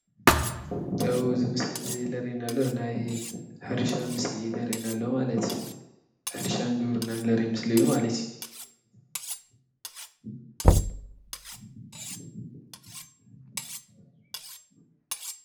እብ ዝምስሊ እዘየ ለሬናሎ ናይ ሕርሻ ምስሊ ለሬና ኣሎ፣ ማለት ሕድሻን ግብርናን ለሬ ምስ ለዩ ማለት